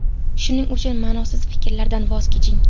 Shuning uchun ma’nosiz fikrlardan voz keching.